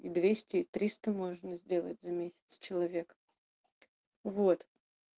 и двести и триста можно сделать за месяц с человека вот